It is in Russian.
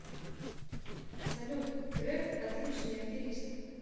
салют греф отличный аферист